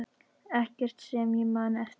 Ekkert sem ég man eftir.